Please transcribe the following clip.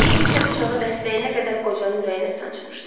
Kimsə bıçağı dəstəyinə qədər qocanın ürəyinə sancmışdı.